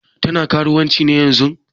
Tana karuwanci ne yanzun?